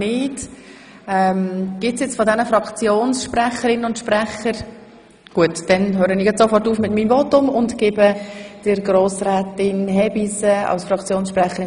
– Ich habe vorher etwas lange Zeit gegeben und gedacht, alle Fraktionen überlegen sich, ob es bestritten sei oder nicht.